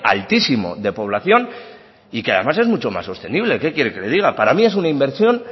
altísimo de población y que además es mucho más sostenible qué quiere que le diga para mí es una inversión